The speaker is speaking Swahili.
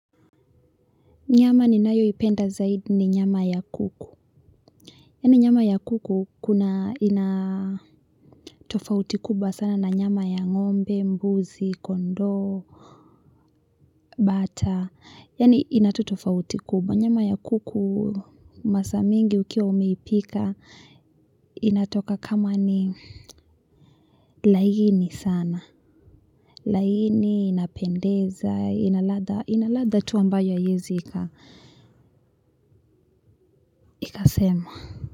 Nyama ninayoipenda zaidi ni nyama ya kuku. Yani nyama ya kuku inatofauti kubwa sana na nyama ya ngombe, mbuzi, kondo, bata. Yani inatofauti kuba. Nyama ya kuku masaa mengi ukiwa umeipika inatoka kama ni laini sana. Laini inapendeza, ina ladha tu ambayo haiezi ikasemwa.